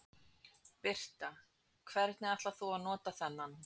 Birta: Hvenær ætlar þú að nota þennan?